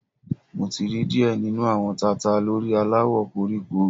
Mo ti ri diẹ ninu awọn tata lori alawọ koriko